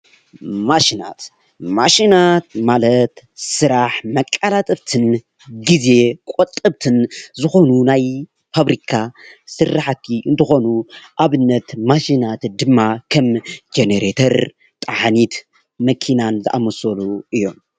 ማሽናት፦ ማሽናት ማለት ስራሕ መቃላጠፍትን ግዜ ቆጠብትን ዝኮኑ ናይ ፋብሪካ ስራሕቲ እንትኮኑ ኣብነት ማሽናት ድማ ከም ጀነሬተር ፣ ጠሓኒት ፣ መኪናን ዝኣመሰሉ እዮም።